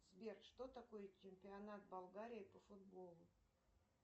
сбер что такое чемпионат болгарии по футболу